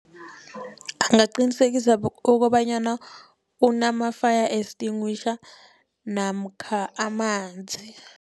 Angaqinisekisa okobanyana unama-fire extinguisher namkha amanzi.